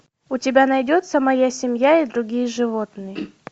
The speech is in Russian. у тебя найдется моя семья и другие животные